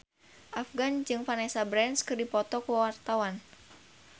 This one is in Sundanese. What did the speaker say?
Afgan jeung Vanessa Branch keur dipoto ku wartawan